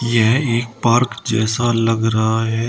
यह एक पार्क जैसा लग रहा है।